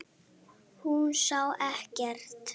Hún sá ekkert.